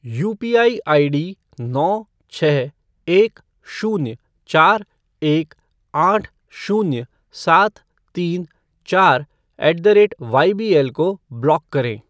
UPI ID नौ छः एक शून्य चार एक आठ शून्य सात तीन चार ऐट द रेट वाईबीएल को ब्लॉक करें।